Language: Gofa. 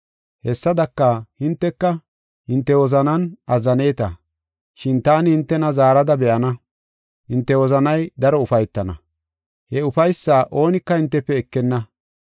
Hessadaka, hinteka hinte wozanan azzaneeta, shin taani hintena zaarada be7ana. Hinte wozanay daro ufaytana; he ufaysaa oonika hintefe ekenna.